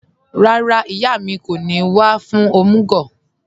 Rárá, ìyà mi kò ní wà fún omúg